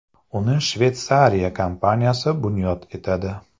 Uni Shveysariya kompaniyasi bunyod etadi.